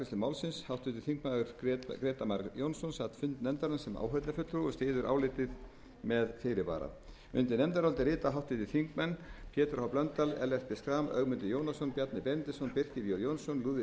málsins háttvirtir þingmenn grétar mar jónsson sat fund nefndarinnar sem áheyrnarfulltrúi og styður álitið með fyrirvara undir nefndarálitið rita háttvirtir þingmenn pétur h blöndal ellert b schram ögmundur jónasson bjarni benediktsson birkir j jónsson lúðvík bergvinsson katrín jakobsdóttir